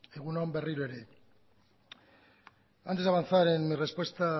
egun on berriro ere antes de avanzar en mi respuesta